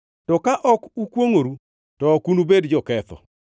To ka ok ukwongʼoru to ok unubed joketho.